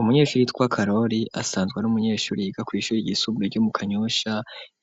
Umunyeshuri yitwa Karori asanzwe r'umunyeshuri yiga kwishure igisumburo ryo mu kanyusha